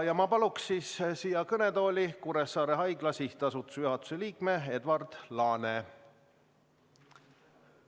Ma palun siia kõnetooli Kuressaare Haigla SA juhatuse liikme Edward Laane.